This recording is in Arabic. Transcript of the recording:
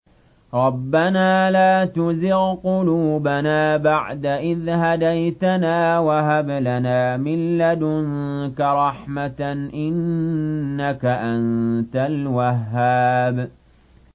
رَبَّنَا لَا تُزِغْ قُلُوبَنَا بَعْدَ إِذْ هَدَيْتَنَا وَهَبْ لَنَا مِن لَّدُنكَ رَحْمَةً ۚ إِنَّكَ أَنتَ الْوَهَّابُ